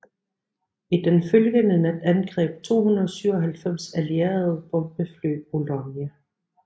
I den følgende nat angreb 297 allierede bombefly Boulogne